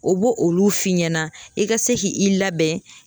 O bo olu f'i ɲɛna i ka se ki i labɛn